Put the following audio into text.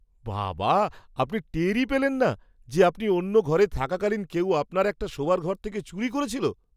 বাবা! আপনি টেরই পেলেন না যে আপনি অন্য ঘরে থাকাকালীন কেউ আপনার একটা শোবার ঘর থেকে চুরি করছিল!